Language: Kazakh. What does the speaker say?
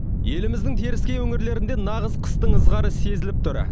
еліміздің теріскей өңірлерінде нағыз қыстың ызғары сезіліп тұр